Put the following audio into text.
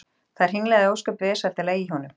Það hringlaði ósköp vesældarlega í honum.